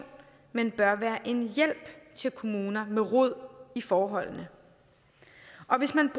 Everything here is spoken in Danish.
men bør være en hjælp til kommuner med rod i forholdene og hvis man